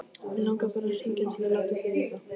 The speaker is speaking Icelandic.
Mig langaði bara að hringja til að láta þig vita.